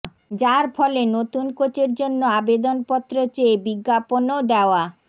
যার ফলে নতুন কোচের জন্য আবেদনপত্র চেয়ে বিজ্ঞাপনও দেওয়া